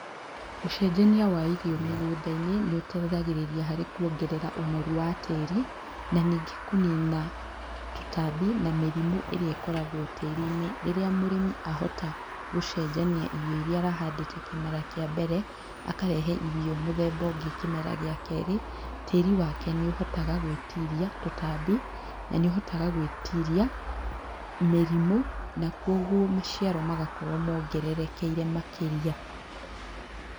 Ũcenjania wa irio mĩgũnda-inĩ, nĩ ũteithagĩrĩa harĩ kuongerea ũnoru wa tĩĩri, na ningĩ kũnina tũtambi na mĩrimũ ĩrĩa ĩkoragwo tĩĩrĩ-ini. Rĩrĩa mũrĩmi ahota gũcenjania irio iria arahandĩte kĩmera kĩa mbere, akarehe irio mũthemba ũngĩ kĩmera gĩa kerĩ, tĩĩri wake nĩũhotaga gũĩtiria tũtambĩ, na nĩũhotaga gũĩtiria mĩrimũ na kũoguo maciaro magakorwo mongererekeire makĩria.